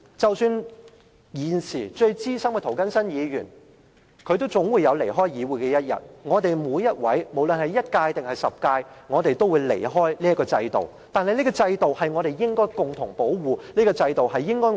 即使現時最資深的議員涂謹申議員也總有離開議會的一天，我們每位議員，無論是擔任了一屆還是10屆的議員，始終有一天會離開這個制度。